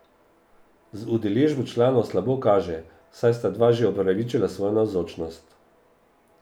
Z udeležbo članov slabo kaže, saj sta dva že opravičila svojo navzočnost.